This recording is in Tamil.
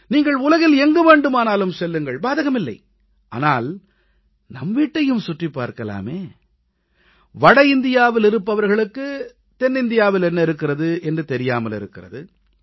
நீங்கள் உலகில் எங்கு வேண்டுமானாலும் செல்லுங்கள் பாதகமில்லை ஆனால் நம் வீட்டையும் சுற்றிப் பார்க்கலாமே வட இந்தியாவிலிருப்பவர்களுக்கு தென்னிந்தியாவில் என்ன இருக்கிறது என்பது தெரியாமலிருக்கிறது